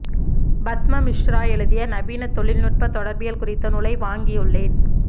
பத்மா மிஸ்ரா எழுதிய நவீன தொழில்நுட்ப தொடா்பியல் குறித்த நூலை வாங்கியுள்ளேன்